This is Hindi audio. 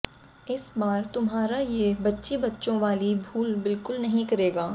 इस बार तुम्हारा ये बच्ची बच्चों वाली भूल बिल्कुल नहीं करेगा